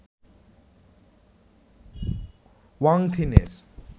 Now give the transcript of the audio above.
Wang থিনের